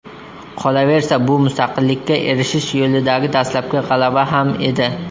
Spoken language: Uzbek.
Qolaversa, bu mustaqillikka erishish yo‘lidagi dastlabki g‘alaba ham edi.